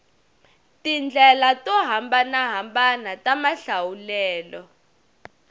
tindlela to hambanahambana ta mahlawulelo